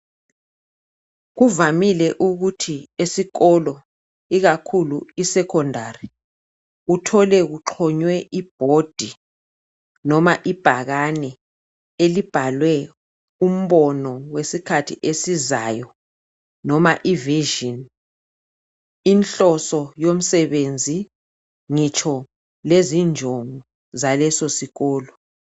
Kuvamile ukuthi esikolo ikakhulu isekondari uthole kuxonywe ibhodi noma ibhakani elibhalwe umbono wesikhathi esizayo noma ivizhini, inhloso yomsebenzi ngitsho lezinjongo zaleso sikolo.